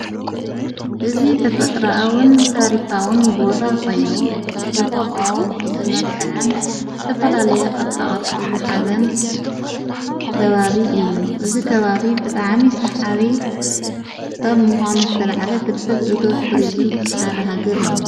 እዝ ተፈጥራአዉን ታሪካዉን ቦታ ኾይኑ ብተፈጥሮ ዝመልከዐን ዝተፈላለየ ቕርፃ ቐርጺ ዝሓዘን ከባብ እዩ እዝ ከባብ ብጣዕሚ ሰሓቢ ኻብ ምዃኑ ዝተልዓለ ፍልፍል እቶት ቱርዝም ሓድ ሃገር እዩ።